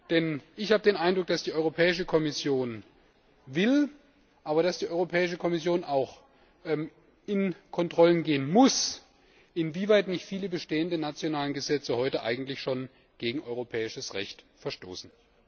Denn ich habe den Eindruck, dass die Europäische Kommission will, meine aber, dass die Europäische Kommission auch kontrollieren muss, inwieweit viele bestehenden nationalen Gesetze heute eigentlich schon gegen europäisches Recht verstoßen.